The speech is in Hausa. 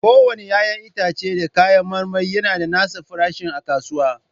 Kowane 'ya'yan itace da kayan marmari yana da nasa farashin a kasuwa.